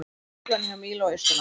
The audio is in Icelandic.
Truflanir hjá Mílu á Austurlandi